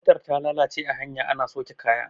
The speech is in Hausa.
motar ta lalace a hanya ana sauke kaya